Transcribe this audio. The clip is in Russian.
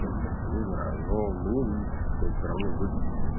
не знаю но мне видится что это всё равно выгоднее